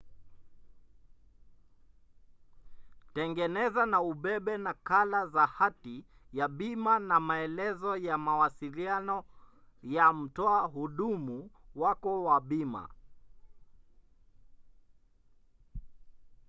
tengeneza na ubebe nakala za hati ya bima na maelezo ya mawasiliano ya mtoa huduma wako wa bima